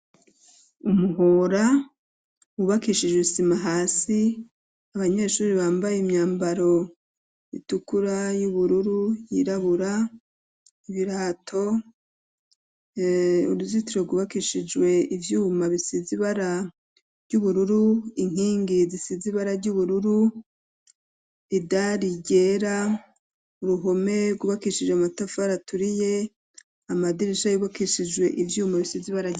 Umuhora wubakishijwe isima hasi abanyeshure bambaye imyambaro itukura y'ubururu yirabura ibirato uruzitiro gwubakishijwe ivyuma bisize ibara vy'ubururu inkingi zisize ibara ry'ubururu idari ryera uruhome gwubakishijwe amatafari aturiye amadirisha y'ubakishijwe ivyuma bisize ibara.